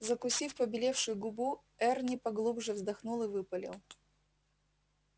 закусив побелевшую губу эрни поглубже вздохнул и выпалил